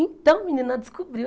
Então, menina, descobriu.